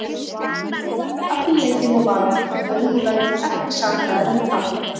Eggert Gunnþór var allan leikinn á varamannabekknum og verður því ekki sakaður um tapið.